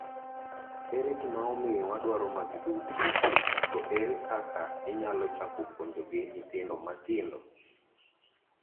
Ere gima omiyo wadwaro magi duto to ere kaka inyalo chako puonjogi nyithindo matindo?